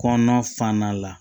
Kɔnɔnafana la